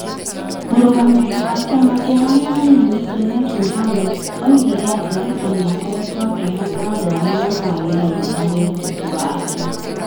Mũrũgamĩrĩri wa kĩama kĩa arĩa anini, Junet Mohammed, oigire atĩ Ruto nĩ akoretwo akĩhoka andũ arĩa mataagĩrĩire harĩ ũteti wake.